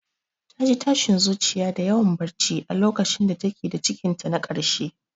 Ta ji tashin zuciya da yawan barci a lokacin da ta ke da cikinta na karshe.